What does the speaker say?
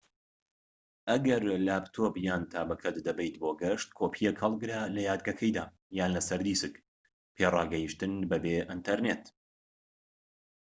ئەگەر لاپتۆپ یان تابەکەت دەبەیت بۆ گەشت، کۆپیەک هەڵگرە لە یادگەکەیدا یان لەسەر دیسک پێڕاگەشتن بەبێ ئینتەرنێت